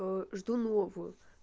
жду новую